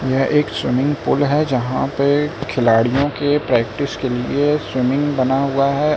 यह एक swimming pool है जहां पे खिलाड़ियों के प्रैक्टिस के लिए स्विमिंग बना हुआ है।